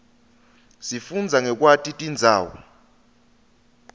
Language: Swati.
sifundza ngekwati tindzawo